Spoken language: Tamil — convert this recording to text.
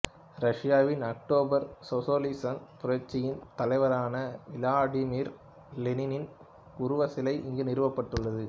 ரஷ்யாவின் அக்டோபர் சோசலிசப் புரட்சியின் தலைவரான விளாடிமிர் லெனினின் உருவச் சிலை இங்கு நிறுவப்பட்டுள்ளது